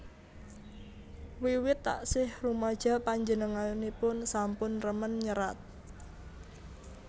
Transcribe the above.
Wiwit taksih rumaja panjenenganipun sampun remen nyerat